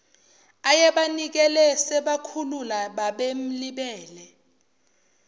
ayebanikelele sebakhula babemlibele